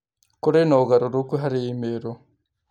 kũrĩ na ũgarũrũku harĩ i-mīrū